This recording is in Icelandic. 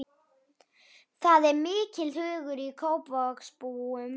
Það er mikill hugur í Kópavogsbúum.